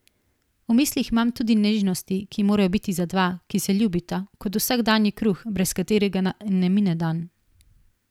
V mislih imam tudi nežnosti, ki morajo biti za dva, ki se ljubita, kot vsakdanji kruh, brez katerega naj ne mine dan.